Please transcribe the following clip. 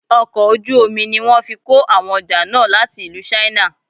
Ọkọ̀ ojú omi ní wọ́n fí kó àwọn ọjà náà láti ìlú china.